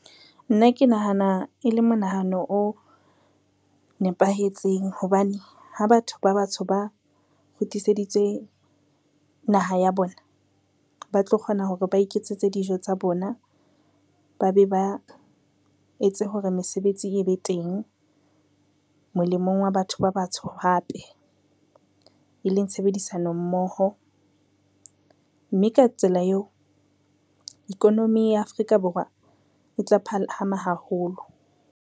Nna ke nahana e le monahano o nepahetseng hobane ha batho ba batsho ba kgutliseditswe naha ya bona, ba tlo kgona hore ba iketsetse dijo tsa bona, ba be ba etse hore mesebetsi e be teng molemong wa batho ba batsho hape. E leng tshebedisano mmoho mme ka tsela eo economy ya Afrika Borwa e tla phahama haholo.